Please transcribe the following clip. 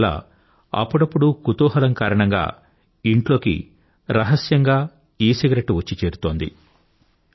అందువల్ల అప్పుడప్పుడు కుతూహలం కారణంగా ఇంట్లోకి రహస్యంగా ఈసిగరెట్టు వచ్చి చేరుతోంది